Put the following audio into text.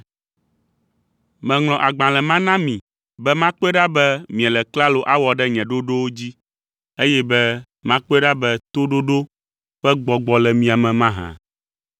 Meŋlɔ agbalẽ ma na mi be makpɔe ɖa be miele klalo awɔ ɖe nye ɖoɖowo dzi, eye be makpɔe ɖa be toɖoɖo ƒe gbɔgbɔ le mia me mahã?